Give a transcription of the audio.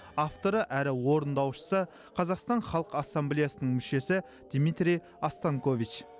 авторы әрі орындаушысы қазақстан халық ассамблеясының мүшесі дмитрий останькович